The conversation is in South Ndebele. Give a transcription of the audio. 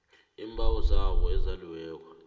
iimbawo zabo ezaliweko